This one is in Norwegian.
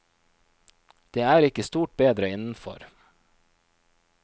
Det er ikke stort bedre innenfor.